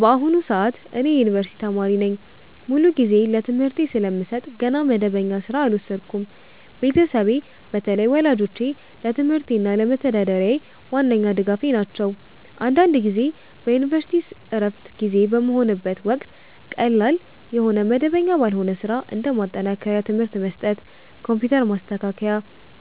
በአሁኑ ሰዓት እኔ የዩኒቨርሲቲ ተማሪ ነኝ። ሙሉ ጊዜዬን ለትምህርቴ ስለምሰጥ ገና መደበኛ ሥራ አልወሰድኩም። ቤተሰቤ፣ በተለይ ወላጆቼ፣ ለትምህርቴ እና ለመተዳደሪያዬ ዋነኛ ድጋፌ ናቸው። አንዳንድ ጊዜ በዩኒቨርሲቲ ዕረፍት ጊዜ በሚሆንበት ወቅት ቀላል የሆነ መደበኛ ባልሆነ ሥራ (እንደ ማጠናከሪያ ትምህርት መስጠት፣ ኮምፒውተር ማስተካከያ፣